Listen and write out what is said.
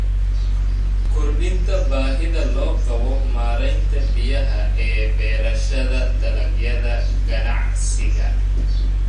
Kordhinta baahida loo qabo maareynta biyaha ee beerashada dalagyada ganacsiga.